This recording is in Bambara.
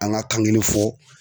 An ka kan kelen fɔ.